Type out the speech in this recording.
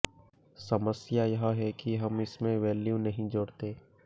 समस्या यह है कि हम इसमें वैल्यू नहीं जोड़ते